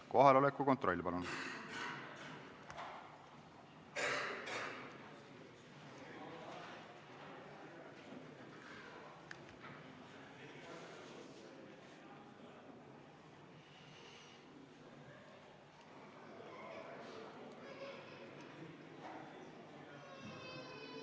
Kohaloleku kontroll, palun!